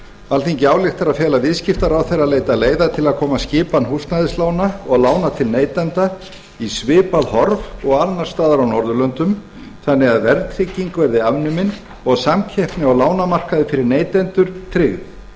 alþingi ályktar að fela viðskiptaráðherra að leita leiða til að koma skipan húsnæðislána og lána til neytenda í svipað horf og annars staðar á norðurlöndum þannig að verðtrygging verði afnumin og samkeppni á lánamarkaði fyrir neytendur tryggð